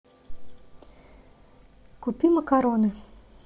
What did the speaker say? купи макароны